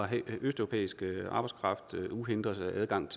have østeuropæisk arbejdskraft med uhindret adgang